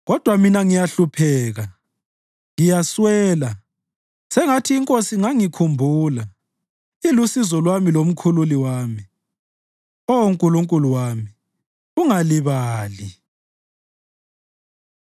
Kodwa mina ngiyahlupheka, ngiyaswela; sengathi iNkosi ingangikhumbula. Ilusizo lwami lomkhululi wami; Oh Nkulunkulu wami, ungalibali.